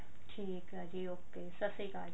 ਨਜਦੀਕ ਆ ਜੀ okay ਸਤਿ ਸ਼੍ਰੀ ਅਕਾਲ ਜੀ